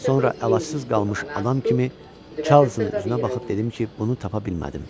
Sonra əlacız qalmış adam kimi Çarlzın üzünə baxıb dedim ki, bunu tapa bilmədim.